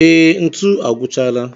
Ee, ntu agwụchaala